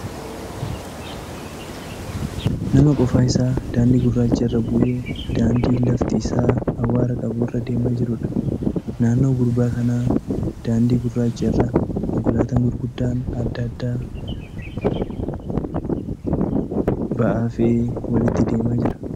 Nama qofaa isaa daandii gurraacha irraa bu'ee daandii lafti isaa awwaara qabu irra deemaa jiruudha. Naannoo gurbaa kanaa daandii gurraacha irra konkolaataan gurguddaan adda addaa ba'aa fe'ee walitti deemaa jira.